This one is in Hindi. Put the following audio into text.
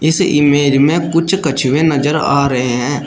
इस इमेज में कुछ कछुए नजर आ रहे हैं।